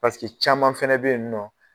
caman fana bɛ yen nɔ